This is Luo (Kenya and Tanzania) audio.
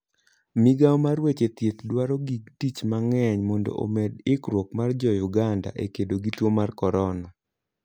Migawo mar weche thieth dwaro gig tich mang'eny mondo omed ikruok mar jouganda e kedo gi tuo mar corona